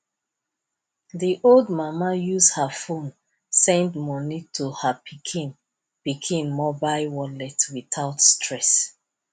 the old mama use her phone send money to her pikin pikin mobile wallet without stress